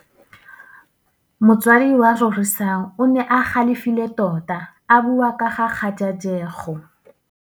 Motsadi wa Rorisang o ne a galefile tota a bua ka kgajajegô.